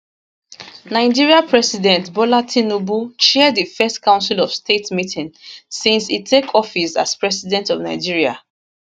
nigeria president bola tinubu chair di first council of state meeting since e take office as president of nigeria